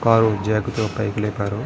Car jack తో పైకి లేపారు.